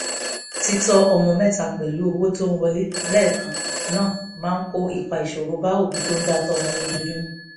títọ́ ọmọ mẹ́ta pẹ̀lú owó tó ń wọlé lẹ́ẹ̀kan máa kó ọ̀pọ̀ ìṣòro bá òbí tó ń dá tọ́mọ lójoojúmọ́